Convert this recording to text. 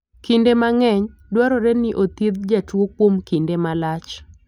Kinde mang'eny, dwarore ni othiedh jatuo kuom kinde malach.